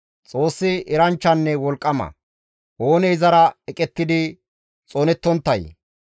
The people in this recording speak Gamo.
Xoossi eranchchanne wolqqama; oonee izara eqettidi xoonettonttay?